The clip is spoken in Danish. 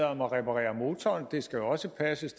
om at reparere motoren det skal også passes